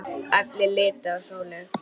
Allir litu á Sólu.